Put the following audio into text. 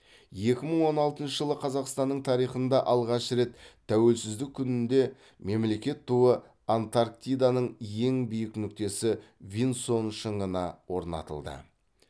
екі мың он алтыншы жылы қазақстанның тарихында алғаш рет тәуелсіздік күнінде мемлекеттік туы антарктиданың ең биік нүктесі винсон шыңына орнатылды